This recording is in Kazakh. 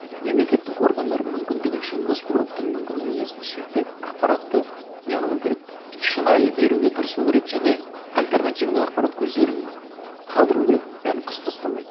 мемлекеттік органдар мүмкіндігінше госпроптың мүмкіндігі несін шектеп ақпаратты не қылу керек шынайы беруге тырысу керек және альтернативный ақпарат көздерін қалдыру керек бәрін қысып тастамай